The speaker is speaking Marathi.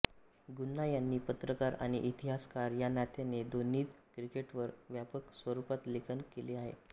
गुहा यांनी पत्रकार आणि इतिहासकार या नात्याने दोन्हींत क्रिकेटवर व्यापक स्वरूपात लेखन केले आहे